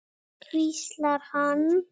hvíslar hann.